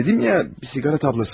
Dedim ya, bir siqara tabaqası.